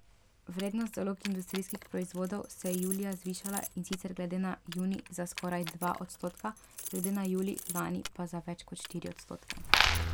Vrednost zalog industrijskih proizvodov se je julija zvišala, in sicer glede na junij za skoraj dva odstotka, glede na julij lani pa za več kot štiri odstotke.